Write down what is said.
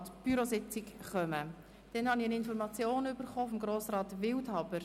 Ich übermittle Ihnen auch eine Information von Grossrat Wildhaber.